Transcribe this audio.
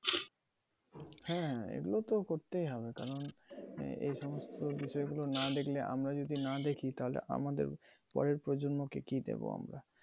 হ্যাঁ, এগুলো তো করতেই হবে কারণ মানে এই সমস্ত বিষয়গুলো না দেখলে আমরা যদি না দেখি তালে আমাদের পরের প্রজন্ম কে কি দেব আমরা।